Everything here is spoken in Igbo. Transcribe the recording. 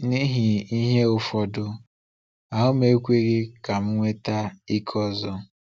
N’ihi ihe ụfọdụ, ahụ m ekweghị ka m nweta ike ọzọ.